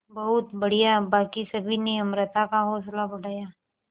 बहुत बढ़िया बाकी सभी ने अमृता का हौसला बढ़ाया